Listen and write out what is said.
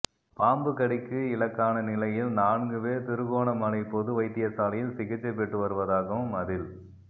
பாம்பு கடிக்கு இலக்கான நிலையில் நான்கு பேர் திருகோணமலை பொது வைத்தியசாலையில் சிகிச்சை பெற்று வருவதாகவும் அதில்